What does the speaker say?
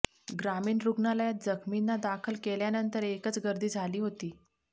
ग्रामीण रुग्णालयात जखमींना दाखल केल्यानंतर एकच गर्दी झाली होती